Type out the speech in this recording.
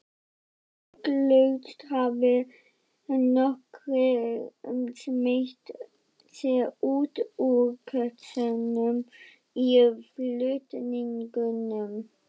Ugglaust hafi nokkrir smeygt sér út úr kössunum í flutningunum.